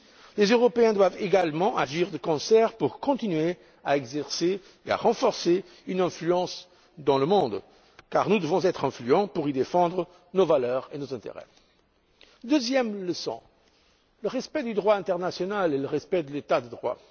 Les Européens doivent également agir de concert pour continuer à exercer et à renforcer une influence dans le monde. Car nous devons être influents pour y défendre nos valeurs et nos intérêts. La deuxième leçon est le respect du droit international et le respect de l'état de droit.